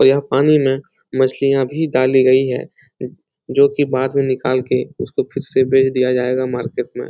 और यह पानी में मछलियां भी डाली गई है जो कि बाद में निकाल के उसको फिर से बेच दिया जाएगा मार्केट में।